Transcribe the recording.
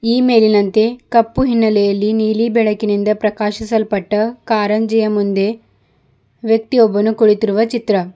ಈ ಮೇಲಿನಂತೆ ಕಪ್ಪು ಹಿನ್ನೆಲೆಯಲ್ಲಿ ನೀಲಿ ಬೆಳಕಿನಿಂದ ಪ್ರಕಾಶಿಸಲ್ಪಟ್ಟ ಕಾರಂಜಿಯ ಮುಂದೆ ವ್ಯಕ್ತಿಯೊಬ್ಬನು ಕುಳಿತಿರುವ ಚಿತ್ರ.